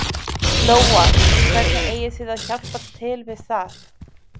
Lóa: Og hvernig eigið þið að hjálpa til við það?